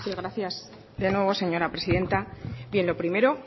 gracias de nuevo señora presidenta bien lo primero